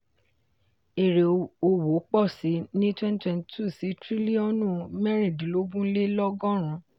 èrè òwò pọ̀ síi ní twenty twenty-two sí triliọ̀nù mẹ́rindínlogun le lọ́gọ́run.